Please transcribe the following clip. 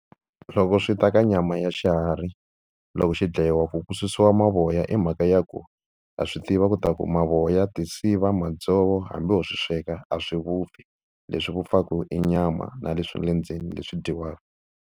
Loko swi ta ka nyama ya xiharhi loko xi dlayiwa ku ku susiwa mavoya i mhaka ya ku ha swi tiva ku ta ku mavoya, tisiva madzovo hambi ho swi sweka a swi vupfi leswi vupfaku i nyama na le swa le ndzeni leswi dyiwaka.